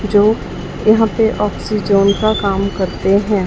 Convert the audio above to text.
जो यहां पे ऑफिस जोन का काम करते हैं।